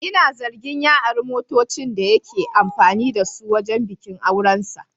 Ina zargin ya ari motocin da yake amfani da su wajen bikin aurensa.